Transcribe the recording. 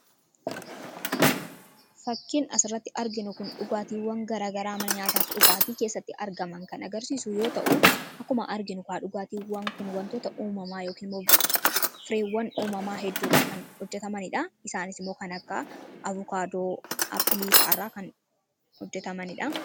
Fakkiin as irratti arginu kun dhugaatiiwwan garaa garaa mana nyaataa fi dhugaatii keessatti argamanidha. Dhugaatiiwwan kun wantoota uumamaa hedduu irraa kan hojjetamanidha. Isaanis immoo kan akka: Abokaadoo, appilii fi kkf irraa kan hojjetamanidha.